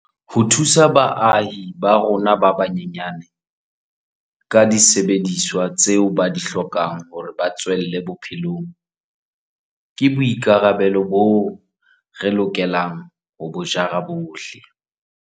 Ho thusa baahi ba rona ba banyenyane ka disebediswa tseo ba di hlokang hore ba tswelle bophelong ke boi karabelo boo re lokelang ho bo jara bohle.